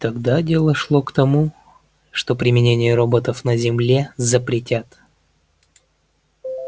тогда дело шло к тому что применение роботов на земле запретят